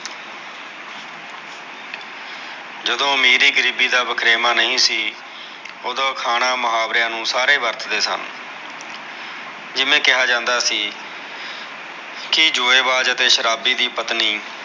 ਜਦੋ ਅਮੀਰੀ ਗਰੀਬੀ ਦਾ ਵਖਰੇਵਾ ਨਹੀ ਸੀ ਓਦੋ ਅਖਾਣਾ ਮੁਹਾਵਰਿਆ ਨੂ ਸਾਰੇ ਵਰਤਦੇ ਸਨ ਜਿਵੇ ਕਿਹਾ ਜਾਂਦਾ ਸੀ ਕਿ ਜੂਏਬਾਜ ਅਤੇ ਸ਼ਰਾਬੀ ਦੀ ਪਤਨੀ